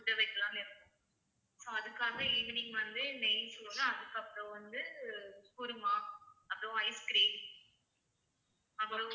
வைக்கலாம்னு இருக்கோம் so அதுக்காக evening வந்து நெய் சோறு அதுக்கப்புறம் வந்து kurma அப்புறம் ice cream அப்புறம்